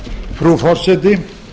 frú forseti